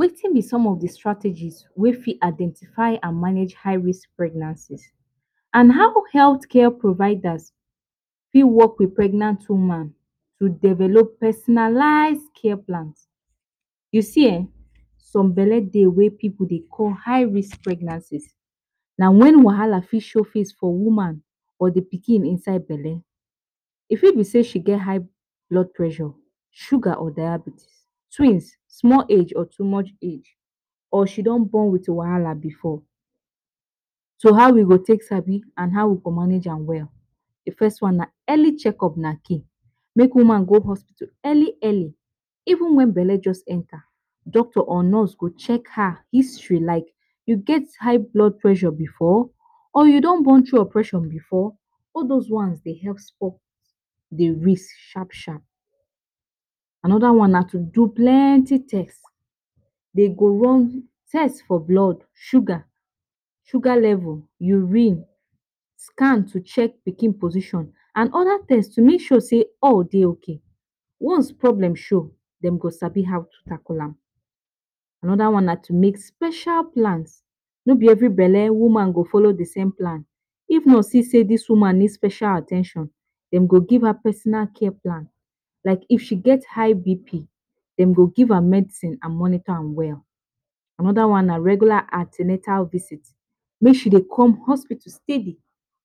Wetin b some of the strategies wey fit identify and manage high-risk pregnancies, and how healthcare providers fit work with pregnant women to develop personalized care plans. U see ehn, some belle dey we people dey call high-risk pregnancies. Na wen wahala fit show face for woman or d pikin inside belle, e fit be say she get high blood pressure, sugar or diabetes, Twins, small age or too much age Or she don born with wahala before. So how we go take sabi and how we go manage and we’ll, The first one is early checkup na key. Make woman go to hospital early, early. Even when belle just enter, doctor or nurse go check her history. Like, you get high blood pressure before? Or you don born thru operation before? All those ones, they have stop d risk, sharp, sharp. Another one is to do plenty tests. Dem go do test for blood, sugar, sugar level, urine, scan to check pikin position, and other test to make sure sey all day ok. Once problem show, them go study how to tackle am. Another one na to make special plans. No be every belle woman go follow the same plan. If nurse see sey d woman need special at ten tion, dem go give her personal care plan. Like if she get high BP, dem go give her medicine and monitor her well. Another one na regular an ten atal visits. Make sure Dey come hospital steady.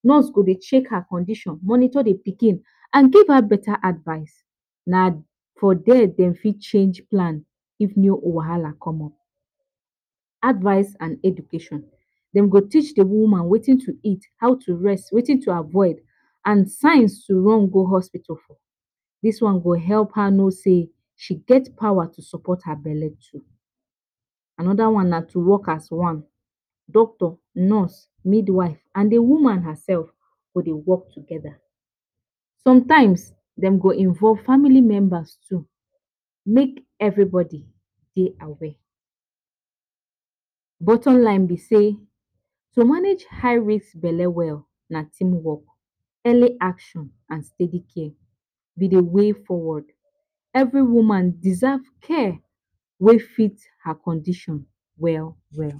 Nurse go dey check her condition, monitor the pikin, and give her better advice. Na there dem fit change plan if anoda wahala come up. Advice and education. Dem go teach the woman wetin to eat, how to rest, Wetin to avoid, and signs to run go hospital for. This one go help her know sey she get power to support her belle too. Anoda one na to work as one. Doctor, nurse, midwife, and the woman herself go Dey work together. Sometimes, them go involve family members too. Make everybody stay. Bottom line be say, to manage high-risk belle well na teamwork, early action and steady care b d way forward. Every woman deserve care wey fit her condition well well.